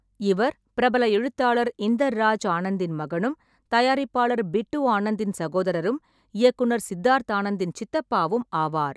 இவர் பிரபல எழுத்தாளர் இந்தர் ராஜ் ஆனந்தின் மகனும், தயாரிப்பாளர் பிட்டு ஆனந்தின் சகோதரரும், இயக்குனர் சித்தார்த் ஆனந்தின் சித்தப்பாவும் ஆவார்.